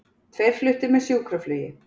Tveir fluttir með sjúkraflugi